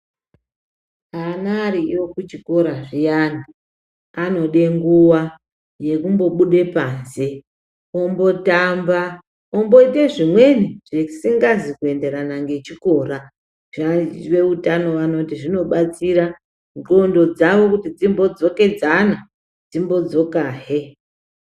Ana ariyo kuchikora zviyani anode nguwa yekumbobude paze ombotamba omboite zvimweni zvisingazi kuenderana nechikora veutano vanoti zvinobatsira nclondo dzawo kuti dzimbodzokedzana dzimbo dzoka he